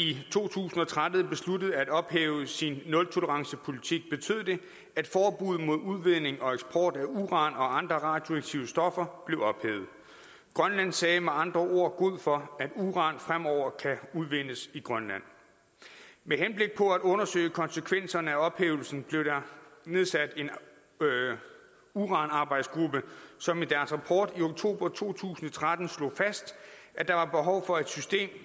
i to tusind og tretten besluttede at ophæve sin nultolerancepolitik betød det at forbuddet mod udvinding og eksport af uran og andre radioaktive stoffer blev ophævet grønland sagde med andre ord god for at uran fremover kan udvindes i grønland med henblik på at undersøge konsekvenserne af ophævelsen blev der nedsat en uranarbejdsgruppe som i deres rapport i oktober to tusind og tretten slog fast at der var behov for et system